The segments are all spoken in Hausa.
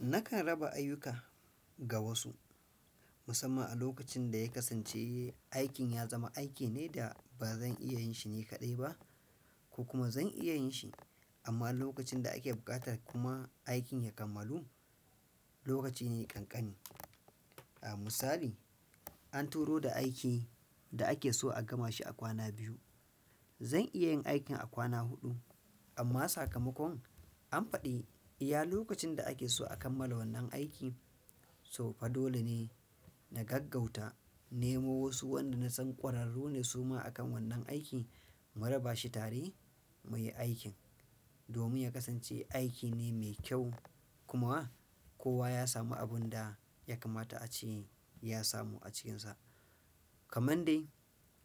Nakan raba ayuka ga wasu musamman a lokacin da ya kasance aikin ya zama aiki ne da ba zan iya yin shi ni kaɗai ba ko kuma zan iya yin shi amma a lokacin da ake buƙata kuma aikin ya kammalu lokaci ne ƙanƙani. A misali an turo da aiki da ake so a gama shi a kwana biyu. Zan iya yin aikin a kwana huɗu amma sakamakon an faɗi iya lokacin da ake so a kammala wannan aiki. To fa dole ne na gaggauta nemo wasu wanda na san ƙwararu ne suma akan wannan aiki mu raba shi tare mu yi aikin domin ya kasance aiki ne mai kyau kuma kowa ya sami abinda yakamata ace ya samu a cikinsa. Kaman dai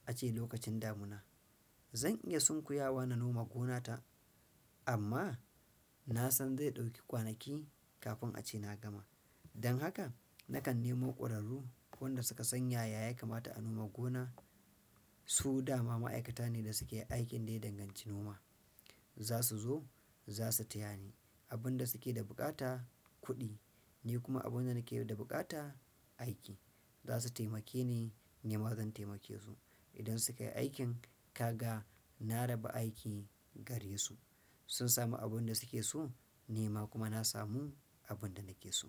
a ce lokacin damuna zan iya sunkuyawa na noma gonata amma na san zai ɗauki kwanaki kafin a ce na gama. Don haka nakan nemo ƙwararru wanda suka san yaya ya kamata a noma gona su da ma ma'aikata ne da suke aikin da ya danganci noma. Za su zo, za su taya ni abun da suke da buƙata kuɗi, ni kuma abun da nake da buƙata aiki. Zasu taimake ni, nima zan taimake su idan suka yi aikin, kaga na raba aiki gare su sun sami abun da suke so ni ma kuma na samu abun da nake so.